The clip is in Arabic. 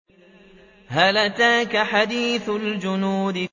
هَلْ أَتَاكَ حَدِيثُ الْجُنُودِ